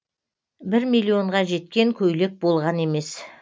бір миллионға жеткен көйлек болған емес